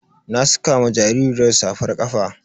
Na saka ma jaririyar safar saƙa.